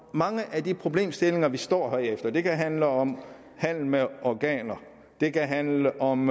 mange af de problemstillinger vi står med det kan handle om handel med organer det kan handle om